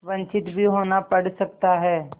वंचित भी होना पड़ सकता है